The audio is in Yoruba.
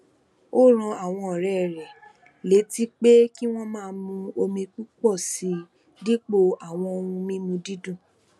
ó rán àwọn òré rè létí pé kí wón máa mu omi púpò sí i dípò àwọn ohun mímu dídùn